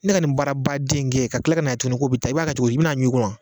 Ne ka nin baarabaden in kɛ, ka kila kanaye tugunni ko bɛ tan i b'a cogodi, i bɛna a ɲun in kun wa.